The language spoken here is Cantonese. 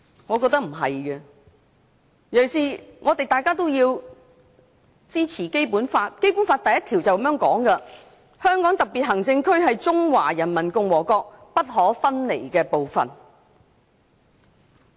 我認為不是，尤其是大家都要支持《基本法》，當中的第一條是這樣的："香港特別行政區是中華人民共和國不可分離的部分"。